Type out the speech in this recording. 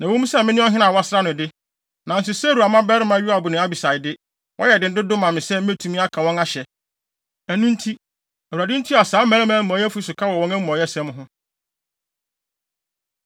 Na ɛwɔ mu sɛ me ne ɔhene a wɔasra no de, nanso Seruia mmabarima Yoab ne Abisai de, wɔyɛ den dodo ma me sɛ metumi aka wɔn ahyɛ. Ɛno nti, Awurade ntua saa mmarima amumɔyɛfo yi so ka wɔ wɔn amumɔyɛsɛm ho.”